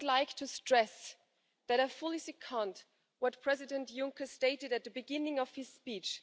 I would like to stress that I fully second what President Juncker stated at the beginning of his speech.